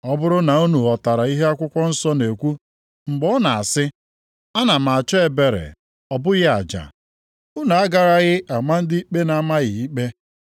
Ọ bụrụ na unu ghọtara ihe akwụkwọ nsọ na-ekwu mgbe ọ na-asị, ‘Ana m achọ ebere, ọ bụghị aja.’ + 12:7 \+xt Hos 6:6\+xt* Unu agaraghị ama ndị ikpe na-amaghị ikpe.